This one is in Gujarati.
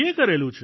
કરેલું છે